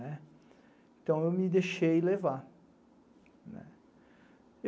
Então, eu me deixei levar.